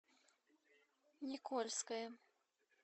никольское